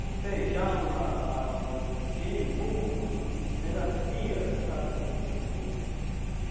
O feijão, a a o jirimum, a melancia, sabe? O o